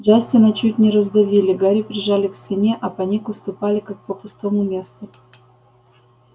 джастина чуть не раздавили гарри прижали к стене а по нику ступали как по пустому месту